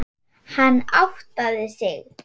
Hann áttaði sig.